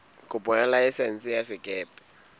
kopo ya laesense ya sekepe